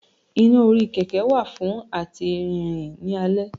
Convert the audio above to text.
iná orí kẹkẹ wa fun atí rirán ni àlé